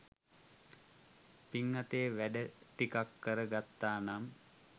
පින් අතේ වැඩ ටිකක් කර ගත්තා නම්